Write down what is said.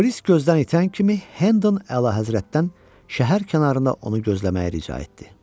Polis gözdən itən kimi, Hendon Əlahəzrətdən şəhər kənarında onu gözləməyi rica etdi.